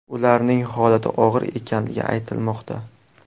Ularning holati og‘ir ekanligi aytilmoqda.